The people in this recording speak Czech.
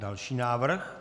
Další návrh.